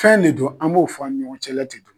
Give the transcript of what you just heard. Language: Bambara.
Fɛn de don an b'o fɔ ani ɲɔgɔn cɛ la de ten.